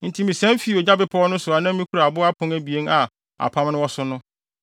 Enti misian fii ogya bepɔw no so a na mikura abo apon abien a apam no wɔ so no.